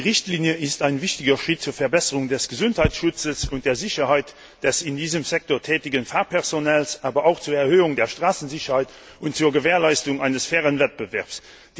Die Richtlinie ist ein wichtiger Schritt zur Verbesserung des Gesundheitsschutzes und der Sicherheit des in diesem Sektor tätigen Fahrpersonals, aber auch zur Erhöhung der Straßenverkehrsicherheit und zur Gewährleistung eines fairen Wettbewerbs.